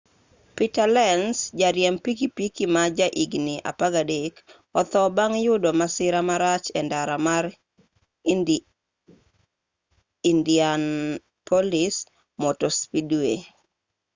peter lenz jariemb pikipiki ma ja higni 13 otho bang' youdo masira marach e ndara mar indianapolis motor speedway